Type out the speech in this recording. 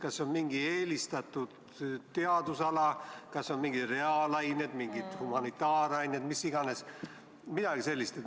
Kas on mingi eelistatud teadusala, näiteks reaalained, humanitaarained või midagi sellist?